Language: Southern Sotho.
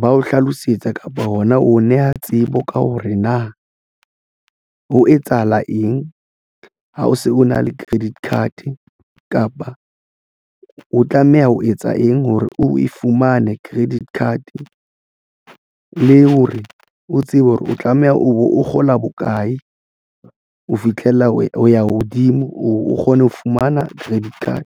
ba o hlalosetsa kapa hona neha tsebo ka hore na ho etsahala eng ha o se o na le credit card kapa o tlameha ho etsa eng hore o e fumane credit card le hore o tsebe hore o tlameha o kgola bokae ho fitlhela ha o ya hodimo o kgone ho fumana credit card.